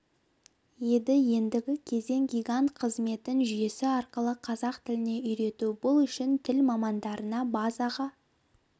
еді ендігі кезең гигант қызметін жүйесі арқылы қазақ тіліне үйрету бұл үшін тіл мамандарына базаға